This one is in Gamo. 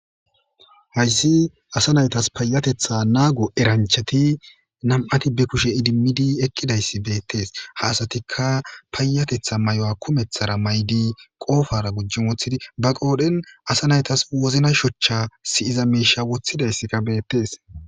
hayssi asa naytas payatetha naago eranchati nam7ati be kushe idimmidi eqqidayssi beettes ha asatikka paayatetha mayuwa kumeththara may7di qoofara gujjin woththidi ba qoodhen asa naytas wozna shochcha si7iza meisha woththidayssika beettees